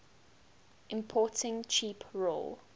importing cheap raw